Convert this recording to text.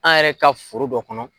An yɛrɛ ka foro dɔ kɔnɔ.